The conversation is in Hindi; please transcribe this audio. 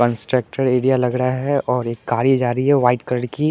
कंस्ट्रक्टेड एरिया लग रहा है और एक गाड़ी जा रही है वाइट कलर की।